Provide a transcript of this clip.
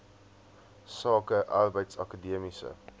sake arbeids akademiese